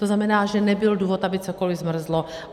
To znamená, že nebyl důvod, aby cokoli zmrzlo.